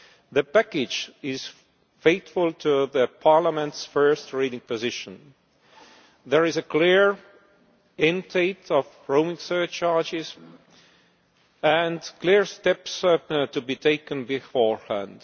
The package is faithful to Parliament's first reading position there is a clear end-date for roaming surcharges and clear steps to be taken beforehand.